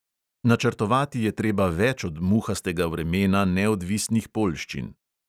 Načrtovati je treba več od muhastega vremena neodvisnih poljščin.